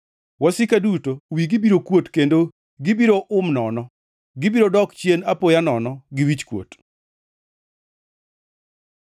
Wasika duto wigi biro kuot kendo gibiro hum nono; gibiro dok chien apoya nono gi wichkuot.